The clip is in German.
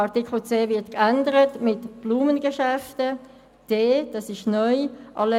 Buchstabe c wird geändert in «Blumengeschäfte», und es wird mit Buchstabe d (neu) hinzugefügt: